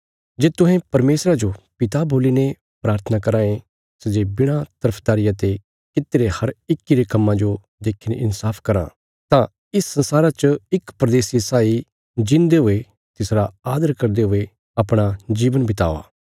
जे तुहें परमेशरा जो पिता बोल्लीने प्राथना कराँ ये सै जे बिणा तरफदारिया ते कित्तिरे हर इक्की रे कम्मां जो देखीने इन्साफ कराँ तां इस संसारा च इक परदेसिये साई जींदे हुये तिसरा आदर करदे हुये अपणा जीवन बितावा